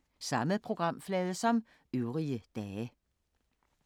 Samme programflade som øvrige dage